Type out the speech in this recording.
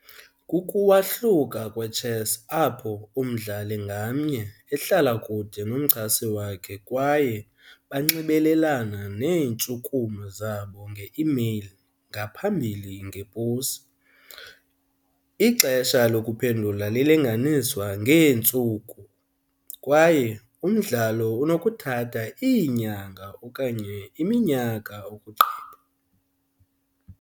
Kukuwahluka kwechess apho umdlali ngamnye ehlala kude nomchasi wakhe kwaye banxibelelana neentshukumo zabo nge-imeyile ngaphambili ngeposi. Ixesha lokuphendula lilinganiswa ngeentsuku kwaye umdlalo unokuthatha iinyanga okanye iminyaka ukugqiba.